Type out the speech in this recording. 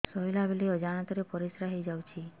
ଶୋଇଲା ବେଳେ ଅଜାଣତ ରେ ପରିସ୍ରା ହେଇଯାଉଛି